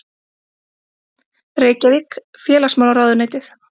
Reykjavík: Félagsmálaráðuneytið.